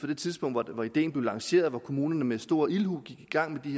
det tidspunkt hvor ideen blev lanceret og kommunerne med stor ildhu gik i gang